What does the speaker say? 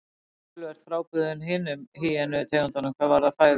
Hann er töluvert frábrugðinn hinum hýenu tegundunum hvað varðar fæðuval.